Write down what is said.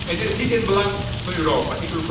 Het is niet in het belang van Europa.